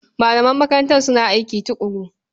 Malaman makarantar suna aiki tuƙuru.